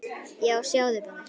Já, sjáðu bara!